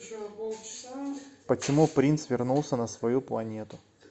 почему принц вернулся на свою планету